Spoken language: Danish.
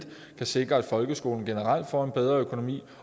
kan sikre at folkeskolen generelt får en bedre økonomi